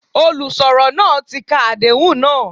Olùsọ̀rọ̀ náà tí ka Àdéhùn náà.